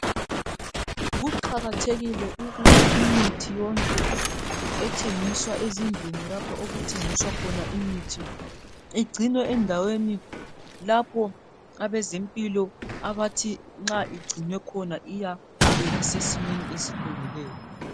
Kuqakathekile ukuthi imithi yonke ,ethengiswa ezindlini lapho okuthengiswa khona imithi .Igcinwe endaweni lapho abezempilo abathi nxa igcinwe khona iyabe isesimeni esilungileyo.